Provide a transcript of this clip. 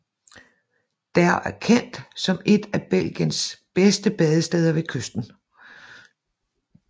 Der er kendt som et af Belgiens bedste badesteder ved kysten